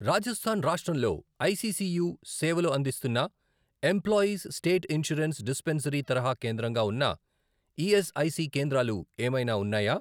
రాజస్థాన్ రాష్ట్రంలో ఐసీసీయు సేవలు అందిస్తున్న ఎంప్లాయీస్ స్టేట్ ఇన్షూరెన్స్ డిస్పెన్సరీ తరహా కేంద్రంగా ఉన్న ఈఎస్ఐసి కేంద్రాలు ఏమైనా ఉన్నాయా?